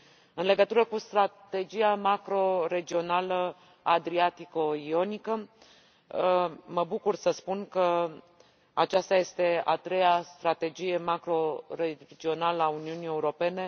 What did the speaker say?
În legătură cu strategia macro regională adriatico ionică, mă bucur să spun că aceasta este a treia strategie macro regională a Uniunii Europene.